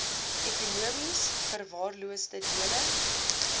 ekonomies verwaarloosde dele